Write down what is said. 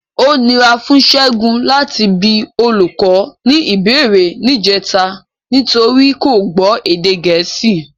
Ó nira fún Ṣẹ́gun láti bi olùkọ́ ní ìbéèrè níjẹta nítorí kò gbọ́ èdè Gẹ̀ẹ́sì.